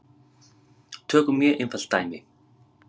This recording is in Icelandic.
Tökum mjög einfalt dæmi.